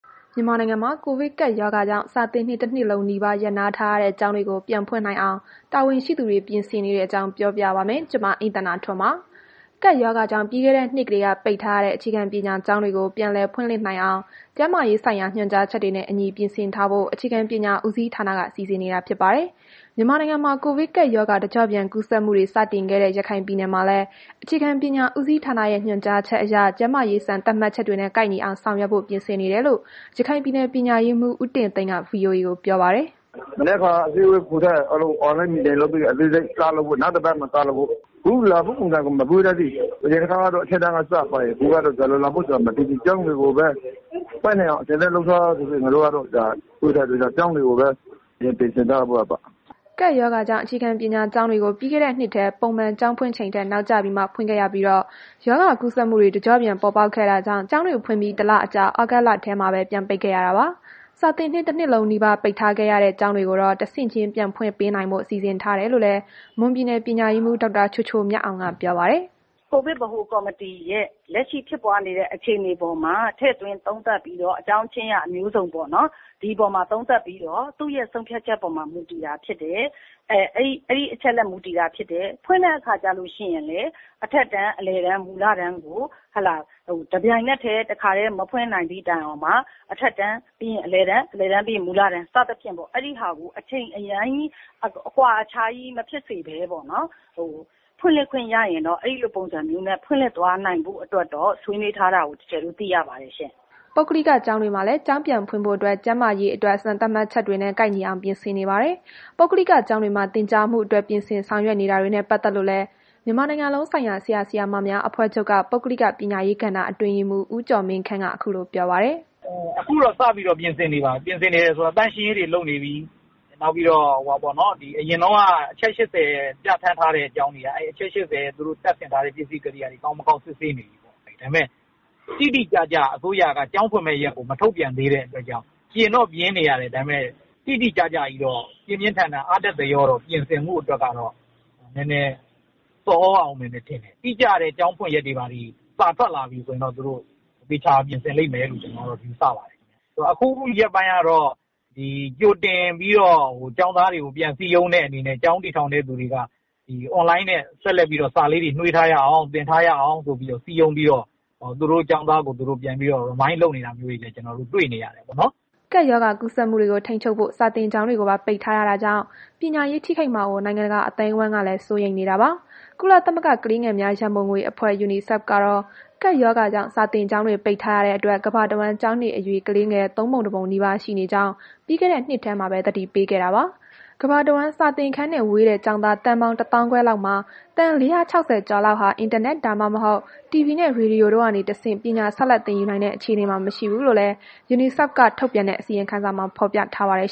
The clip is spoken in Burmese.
မြန်မာနိုင်ငံမှာ ကိုဗစ်ကပ်ရောဂါကြောင့် စာသင်နှစ် တစ် နှစ်လုံးနီးပါး ရပ်နားထားရတဲ့ ကျောင်းတွေကို ပြန်ဖွင့်နိုင်အောင် တာဝန်ရှိသူတွေ ပြင်ဆင်နေတဲ့အကြောင်းကို ဗွီအိုအေမြန်မာပိုင်း သတင်းထောက် မအိမ့်သန္တာထွန်းက ပြောပြပါမယ်။ ကပ်ရောဂါကြောင့် ပြီးခဲ့တဲ့နှစ်ကတည်းက ပိတ်ထားရတဲ့ အခြေခံပညာကျောင်းတွေကို ပြန်လည်ဖွင့်လှစ်နိုင်အောင် ကျန်းမာရေးဆိုင်ရာ ညွှန်ကြားချက်တွေနဲ့အညီ ပြင်ဆင်ထားဖို့ အခြေခံပညာဦးစီးဌာနက စီစဉ်နေတာ ဖြစ်ပါတယ်။ မြန်မာနိုင်ငံမှာ ကိုဗစ်ကပ်ရောဂါ တကျော့ပြန် ကူးစက်မှုတွေ စတင်ခဲ့တဲ့ ရခိုင်ပြည်နယ်မှာလည်း အခြေခံပညာဦးစီးဌာနရဲ့ ညွှန်ကြားချက်အရ ကျန်းမာရေး စံသတ်မှတ်ချက်တွေနဲ့ ကိုက်ညီအောင် ဆောင်ရွက်ဖို့ ပြင်ဆင်နေတယ်လို့ ရခိုင်ပြည်နယ် ပညာရေးမှူး ဦးတင်သိန်းက ဗွီအိုအေကို ပြောပါတယ်။ “မနက်ဖြန်အစည်းအဝေး ခေါ်ထားတယ်။ အားလုံးကို (မြို့နယ်၊ ခရိုင် ပညာရေးမှူးတွေနဲ့ ကျောင်းအုပ်တွေကို) Zoom Meeting လုပ်ပြီး အားလုံးကို အသေးစိတ်စီစဉ်ပြီး နောက်တစ်ပတ်က စလုပ်မယ်။ ခု လာမယ်ပုံစံကို မပြောတတ်သေးဘူး။ အရင်တစ်ခေါက်ကတော့ အထက်တန်းကနေ စတယ်။ ခုကတော့ ဘယ်လိုလာမလဲ မသိသေးဘူး။ ကျောင်းတွေကိုပဲ ဖွင့်နိုင်အောင် အဆင်သင့်လုပ်ထားဆိုတော့ ကျောင်းတွေကိုပဲ အရင်ပြင်ဆင်ထားတာ။” ကပ်ရောဂါကြောင့် အခြေခံပညာကျောင်းတွေကို ပြီးခဲ့တဲ့နှစ်ထဲ ပုံမှန်ကျောင်းဖွင့်ချိန်ထက် နောက်ကျဖွင့်ခဲ့ရပြီး ရောဂါကူးစက်မှုတွေ တကျော့ပြန် ပေါ်ပေါက်ခဲ့တာကြောင့် ကျောင်းတွေဖွင့်ပြီး ၁ လအကြာ သြဂုတ်လထဲမှာပဲ ပြန်ပိတ်ခဲ့ရတာပါ။ စာသင်နှစ်တနှစ်လုံးနီးပါး ပိတ်ထားခဲ့ရတဲ့ ကျောင်းတွေကိုတော့ တဆင့်ချင်း ပြန်ဖွင့်ပေးဖို့ စီစဉ်ထားတယ်လို့လည်း မွန်ပြည်နယ် ပညာရေးမှူး ဒေါက်တာချိုချိုမြတ်အောင်က ပြောပါတယ်။ “ကိုဗစ်ဗဟိုကော်မတီရဲ့ လက်ရှိဖြစ်ပွားနေတဲ့ အခြေအနေပေါ်မှာ ထည့်သွင်းသုံးသပ်ပြီးတော့ အကြောင်းချင်းရာ မျိုးစုံပေါ့နော်။ ဒီအပေါ်မှာသုံးသပ်ပြီးတော့ သူ့ရဲ့ ဆုံးဖြတ်ချက်အပေါ်မှာမူတည်တာ ဖြစ်တယ်။ ဖွင့်တဲ့ အခါကျလို့ရှိရင်လည်း အထက်တန်း၊ အလယ်တန်း၊ မူလတန်းကို တစ်ပြိုင်နက်တည်း၊ တစ်ခါတည်း မဖွင့်နိုင်သည့်တိုင်အောင်တောင်မှ အထက်တန်းပြီးရင် အလယ်တန်း ပြီးရင် မူလတန်းပေါ့ အဲ့ဒါကို အချိန်အများကြီး အကွာခြားကြီး မဖြစ်စေဘဲပေါ့နော်။ ဖွင့်လှစ်ခွင့်ရရင်တော့ အဲ့ဒီလိုပုံစံမျိုးနဲ့ ဖွင့်လှစ်သွားနိုင်ဖို့ ဆွေးနွေးထားတာကိုတော့ သိရပါတယ်ရှင့်။” ပုဂ္ဂလိကကျောင်းတွေမှာလည်း ကျောင်းပြန်ဖွင့်ဖို့အတွက် ကျန်းမာရေးသတ်အတွက် စံသတ်မှတ်ချက်တွေနဲ့ ကိုက်ညီအောင် ပြင်ဆင်နေကြပါတယ်။ ပုဂ္ဂလိကကျောင်းတွေမှာ သင်ကြားမှုအတွက် ပြင်ဆင်ဆောင်ရွက်နေတာနဲ့ ပတ်သက်လို့လည်း မြန်မာနိုင်ငံလုံးဆိုင်ရာ ဆရာဆရာမများအဖွဲ့ချုပ် ပုဂ္ဂလိက ပညာရေးကဏ္ဍအတွင်းရေးမှူး ဦးကျော်မင်းခန့်က ခုလိုပြောပါတယ်။ “အခုတော့ စပြီးတော့ ပြင်ဆင်နေပါပြီ။ ပြင်ဆင်တယ်ဆိုတာ သန့်ရှင်းရေးတွေ လုပ်နေပြီ။ နောက်ပြီးတော့ အရင်တုန်းက အချက် ၈၀ ပြဌာန်းထားတဲ့ ကျောင်းတွေက အချက် ၈၀ ကို ပြန်စစ်ဆေးနေပြီ။ ဒါပေမဲ့ တိတိကျကျ အစိုးရက ကျောင်းဖွင့်မယ့်ရက်ကို မထုတ်ပြန်သေးတဲ့အတွက်ကြောင့် ပြင်တော့ပြင်နေရတယ်။ ဒါပေမဲ့ တိတိကျကျကြီးတော့ ပြင်းပြင်းထန်ထန် အားတက်သရောတော့ ပြင်ဆင်မှုအတွက်ကတော့ နည်းနည်း ဆော်သြရအုံးမယ်ထင်တယ်။ တိကျတဲ့ ကျောင်းဖွင့်ရက်တွေဘာတွေ စာထွက်လာပြီဆိုရင်တော့ သူတို့ သေချာအောင်ပြင်ဆင်လိမ့်မယ့်လို ကျနော်တို့ ယူဆပါတယ်။ အခုရက်ပိုင်းကတော့ ကြိုတင်ပြီးတော့ ကျောင်းသားတွေကို ပြန်စည်းရုံးတဲ့ အနေနဲ့ ကျောင်းတည်ထောင်တဲ့ သူတွေက အွန်လိုင်းနဲ့ ဆက်ပြီးတော့ စာလေးတွေ နွေးထားရအောင် သင်ထားရအောင်ဆိုပြီးတော့ စည်းရုံးပြီးတော့ သူတို့ကျောင်းသားကို သူတို့ ပြန်ပြီးတော့ Remind လုပ်နေတာမျိုးတွေကိုလည်း ကျနော်တို့ တွေ့နေရတယ်ပေါ့နော်။” ကပ်ရောဂါကူးစက်မှုတွေကို ထိန်းချုပ်ဖို့ စာသင်ကျောင်းတွေကိုပါ ပိတ်ထားရတာကြောင့် ပညာရေး ထိခိုက်မှာကို နိုင်ငံတကာ အသိုင်းအဝန်းကလည်း စိုးရိမ်နေတာပါ။ ကုလသမဂ္ဂ ကလေးငယ်များ ရန်ပုံငွေအဖွဲ့ Unicef ကတော့ ကပ်ရောဂါကြောင့် စာသင်ကျောင်းတွေ ပိတ်ထားရတဲ့အတွက် ကမ္ဘာတဝန်း ကျောင်းနေအရွယ် ကလေးငယ် ၃ ပုံ ၁ ပုံနီးပါး ရှိနေကြောင်း ပြီးခဲ့တဲ့နှစ်ထဲမှာပဲ သတိပေးခဲ့တာပါ။ ကမ္ဘာတဝန်း စာသင်ခန်းနဲ့ ဝေးတဲ့ ကျောင်းသား သန်းပေါင်း ၁၅,၀၀၀ လောက်မှာ သန်း ၄၆၀ ကျော်ဟာလည်း အင်တာနက်၊ ဒါမှမဟုတ် တီဗွီနဲ့ ရေဒီယိုတွေကနေတဆင့် ပညာဆက်လက် သင်ယူနိုင်တဲ့ အခြေအနေမှာ မရှိဘူးလို့လည်း Unicef က ထုတ်ပြန်တဲ့ အစီရင်ခံစာမှာ ဖော်ပြထားပါတယ်